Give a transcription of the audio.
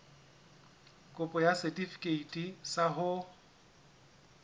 kopo ya setefikeiti sa ho